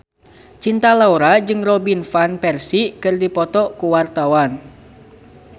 Cinta Laura jeung Robin Van Persie keur dipoto ku wartawan